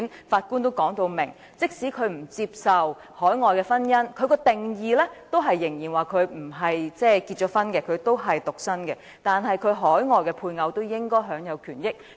法官已表明，即使他不接受海外註冊的婚姻，認為在定義上他仍然未婚和獨身，但其海外配偶應該享有權益。